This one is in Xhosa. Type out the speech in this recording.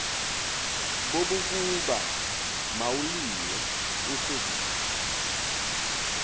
bobokuba mawuliwe usekude